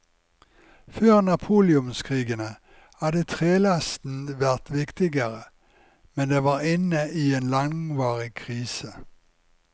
Før napoleonskrigene hadde trelasten vært viktigere, men den var inne i en langvarig krise.